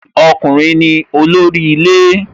Ọkùnrin ni olórí ilé